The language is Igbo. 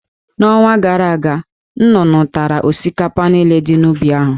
N'ọnwa gara aga, nnụnụ tara osikapa niile dị n'ubi ahụ.